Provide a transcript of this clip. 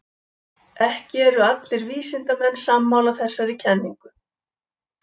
Ekki eru allir vísindamenn sammála þessari kenningu.